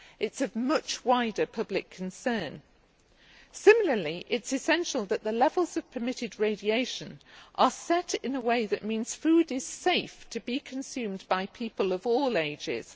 It is of much wider public concern. Similarly, it is essential that the levels of permitted radiation are set in a way that means food is safe to be consumed by people of all ages.